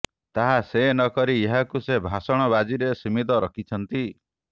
ତାହା ସେ ନକରି ଏହାକୁ ସେ ଭାଷଣବାଜିରେ ସୀମିତ ରଖିଛନ୍ତି